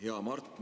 Hea Mart!